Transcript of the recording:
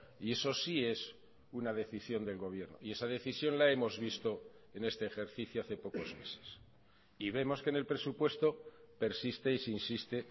y eso sí es una decisión del gobierno y esa decisión la hemos visto en este ejercicio hace pocos meses y vemos que en el presupuesto persiste y se insiste